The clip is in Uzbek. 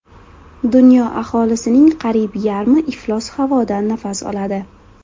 Dunyo aholisining qariyb yarmi iflos havodan nafas oladi.